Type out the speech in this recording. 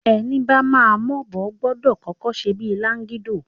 Ẹni bama m'obo, gbọdọ̀ kọ́kọ́ ṣe bíi lágídò.